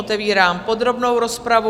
Otevírám podrobnou rozpravu.